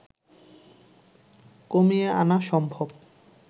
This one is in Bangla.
কমিয়ে আনা সম্ভব